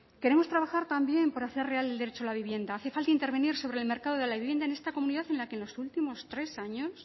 queremos trabajar también para hacer real el derecho a la vivienda hace falta intervenir sobre el mercado de la vivienda en esta comunidad en la que en los últimos tres años